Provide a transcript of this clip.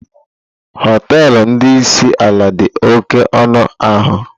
Hotelụ ndị isi ala dị oké ọnụ ahịa.